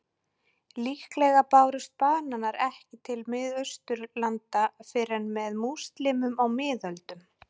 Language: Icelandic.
Líklega bárust bananar ekki til Miðausturlanda fyrr en með múslímum á miðöldum.